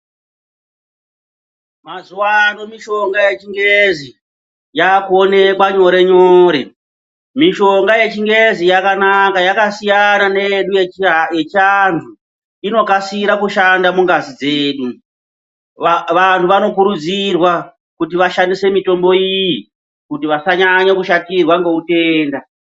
Mazuwano mushonga yechingezi yakuonekwa nyore nyore, mishonga yechingezi yakanaka yakasiyana neyedu yechiantu inokasira kushanda mungazi dzedu vantu vanokurudzirwa kuti vashandise mitombo iyi kuti vasanyanye kushatirwa ngeutenda.